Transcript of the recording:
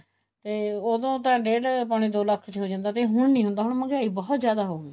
ਤੇ ਉਹਦੋ ਤਾਂ ਡੇਡ ਪੋਣੇ ਦੋ ਲੱਖ ਚ ਹੋ ਜਾਂਦਾ ਸੀ ਹੁਣ ਨਹੀਂ ਹੁੰਦਾ ਹੁਣ ਮਹਿੰਗਾਈ ਬਹੁਤ ਜਿਆਦਾ ਹੋਗੀ